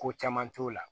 Ko caman t'o la